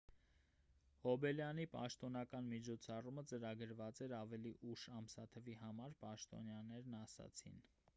հոբելյանի պաշտոնական միջոցառումը ծրագրված էր ավելի ուշ ամսաթվի համար պաշտոնյաներն ասացին